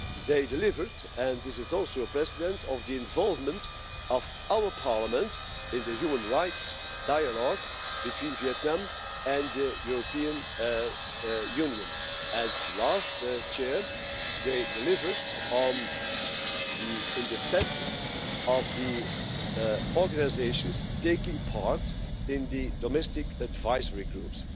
They delivered and this is also a precedent on the involvement of our Parliament in the human rights dialogue between Vietnam and the European Union. Lastly, they delivered on the independence of the organisations taking part in the domestic advisory groups.